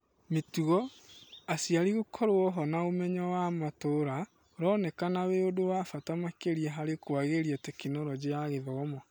Mĩtugo, aciari gũkorwo-ho na ũmenyo wa matũra ũronekana wĩ ũndũ wa bata makĩria harĩ kũagĩria Tekinoronjĩ ya Gĩthomo.